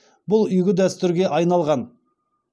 бұл игі дәстүрге айналған